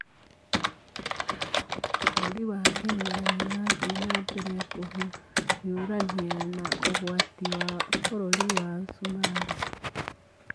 Vũrũri wa Kenya nĩ ũrathiĩ na mbere kũhiũrania na ũgwati wa vururi wa Sumarĩ